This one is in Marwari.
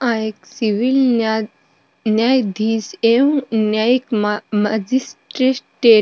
आ एक सिविल न्यायधीश एवं न्यायिक मजिस्ट्रेट।